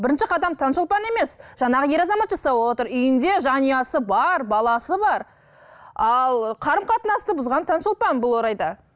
бірінші қадам таңшолпан емес жаңағы ер азамат жасап отыр үйінде жанұясы бар баласы бар ал қарым қатынасты бұзған таңшолпан бұл орайда